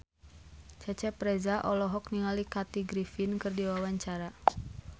Cecep Reza olohok ningali Kathy Griffin keur diwawancara